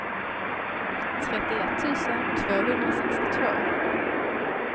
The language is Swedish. trettioett tusen tvåhundrasextiotvå